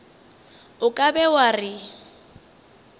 o ka be wa re